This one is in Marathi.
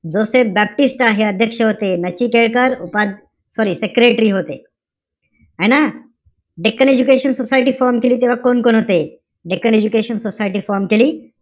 जोसेफ बाप्टिस्ट हे अध्यक्ष होते. नचिकेळकर उपा~ sorry secretary होते. है ना? डेक्कन एजुकेशन सोसायटी form केली तेव्हा कोण-कोण होते? डेक्कन एजुकेशन सोसायटी form केली,